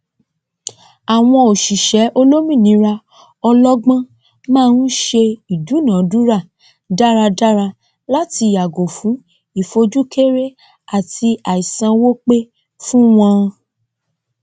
àwọn òsíṣẹ olómìnira ọlọgbọn má n se ìdúnàádúrà dáradára láti yàgò fún ìfojúkéré àti àìsanwó pe fún wọn